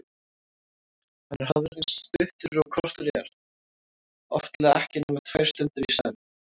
Hann er hafður eins stuttur og kostur er, oftlega ekki nema tvær stundir í senn.